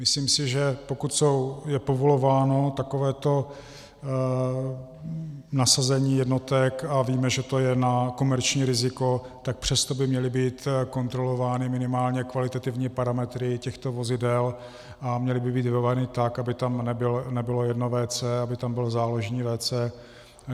Myslím si, že pokud je povolováno takovéto nasazení jednotek, a víme, že to je na komerční riziko, tak přesto by měly být kontrolovány minimálně kvalitativní parametry těchto vozidel a měly by být vybavovány tak, aby tam nebylo jedno WC, aby tam bylo záložní WC.